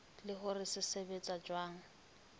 le hore se sebetsa jwang